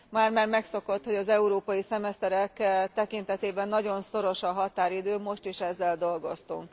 Már már megszokott, hogy az európai szemeszterek tekintetében nagyon szoros a határidő, most is ezzel dolgoztunk.